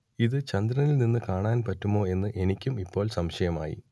ഇതു ചന്ദ്രനിൽ നിന്നു കാണാൻ പറ്റുമോ എന്ന് എനിക്കും ഇപ്പോൾ സംശയം ആയി